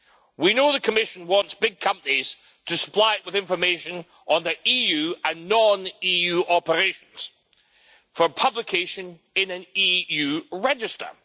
We know the Commission wants big companies to supply it with information on their EU and non EU operations for publication in an EU register.